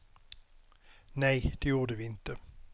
Nej, det gjorde vi inte.